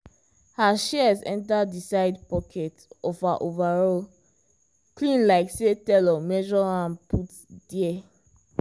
her shears enter the side pocket of her overall clean like say tailor measure am put there.